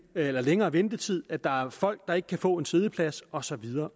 er længere ventetid at der er folk der ikke kan få en siddeplads og så videre